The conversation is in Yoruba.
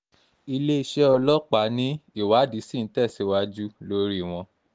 iléeṣẹ́ ọlọ́pàá ni ìwádìí ṣì ń tẹ̀síwájú lórí wọn